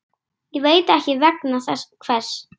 Ég veit ekki vegna hvers.